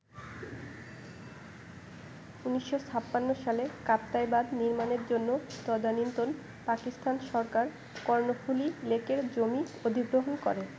১৯৫৬ সালে কাপ্তাই বাঁধ নির্মাণের জন্য তদানীন্তন পাকিস্তান সরকার কর্ণফুলী লেকের জমি অধিগ্রহণ করে।